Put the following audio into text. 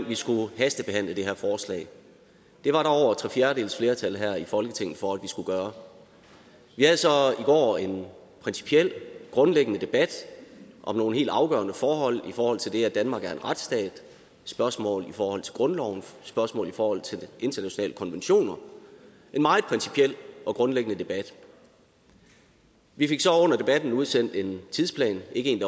vi skulle hastebehandle det her forslag det var der over tre fjerdedeles flertal her i folketinget for at vi skulle gøre vi havde så i går en principiel og grundlæggende debat om nogle helt afgørende forhold i forhold til det at danmark er en retsstat spørgsmål i forhold til grundloven spørgsmål i forhold til de internationale konventioner en meget principiel og grundlæggende debat vi fik så under debatten udsendt en tidsplan ikke en